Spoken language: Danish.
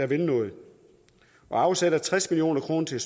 vil noget vi afsætter tres million kroner til